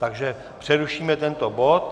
Takže přerušíme tento bod.